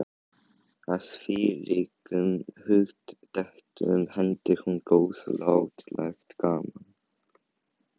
Að þvílíkum hugdettum henti hún góðlátlegt gaman.